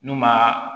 N'u ma